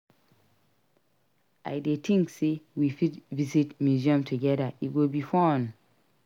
I dey think say we fit visit museum together; e go be fun.